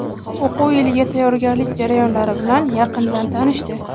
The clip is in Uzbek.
o‘quv yiliga tayyorgarlik jarayonlari bilan yaqindan tanishdi.